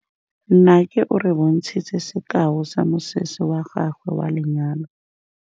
Nnake o re bontshitse sekaô sa mosese wa gagwe wa lenyalo.